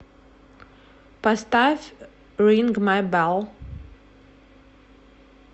поставь ринг май белл